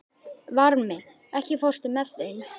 Varmi, ekki fórstu með þeim?